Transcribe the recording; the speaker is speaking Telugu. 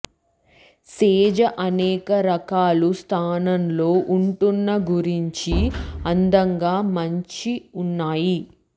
సేజ్ అనేక రకాలు స్థానంలో ఉంటున్న గురించి అందంగా మంచి ఉన్నాయి